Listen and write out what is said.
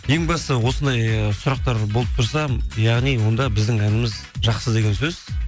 ең бастысы осындай сұрақтар болып тұрса яғни онда біздің әніміз жақсы деген сөз